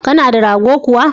Kana da rago kuwa?